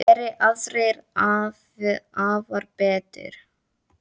Geri aðrir afar betur.